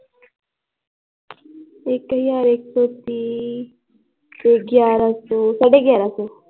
ਇੱਕ ਹਜ਼ਾਰ ਇੱਕ ਸੌ ਤੀਹ ਤੇ ਫਿਰ ਗਿਆਰਾਂ ਸੌ ਤੇ ਸਾਢੇ ਗਿਆਰਾਂ ਸੌ l